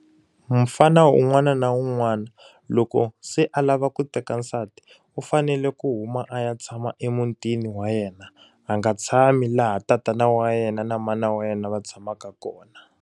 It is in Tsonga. Mufana un'wana na un'wana loko se a lava ku teka nsati, u fanele ku huma a ya tshama emutini wa yena. A nga tshami laha tatana wa yena na mana wa yena va tshamaka kona.